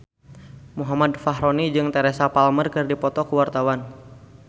Muhammad Fachroni jeung Teresa Palmer keur dipoto ku wartawan